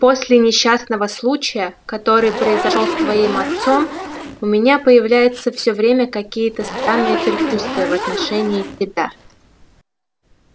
после несчастного случая который произошёл с твоим отцом у меня появляются всё время какие-то странные предчувствия в отношении тебя